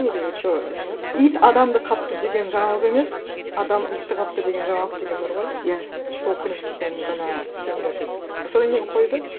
или что немене еді ит адамды қапты деген жаңалық емес адам итті қапты деген жаңалық деген бар ғой иә сол принциппен ғана істеңдер деп содан кейін қойды